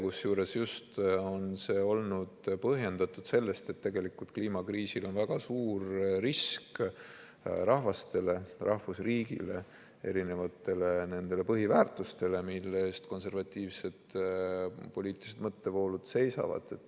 Kusjuures see on olnud põhjendatud just sellega, et kliimakriisil on väga suur risk rahvastele, rahvusriikidele, erinevatele põhiväärtustele, mille eest konservatiivsed poliitilised mõttevoolud seisavad.